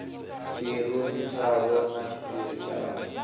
tshirunzi tshavho na tshiphiri tshavho